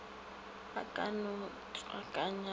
a ka no tswakanya go